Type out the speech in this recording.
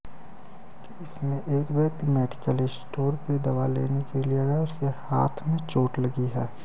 इसमें एक व्यक्ति मेडिकल स्टोर पे दवा लेने के लिए आया है। उसके हाथ में चोट लगी है।